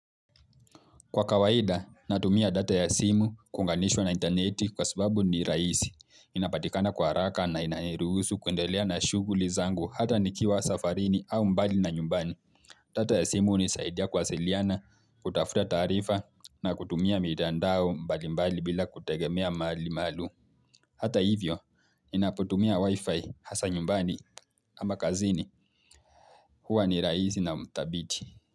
Kwa kawaida, natumia data ya simu kuunganishwa na interneti kwa subabu ni rahisi. Inapatikana kwa haraka na inaniruhusu kuendelea na shughuli zangu hata nikiwa safarini au mbali na nyumbani. Data ya simu hunisaidia kuwasiliana, kutafuta taarifa na kutumia mitandao mbali mbali bila kutegemea mali malum. Hata hivyo, ninapotumia wifi hasa nyumbani ama kazini huwa ni rahisi na mdhabitii.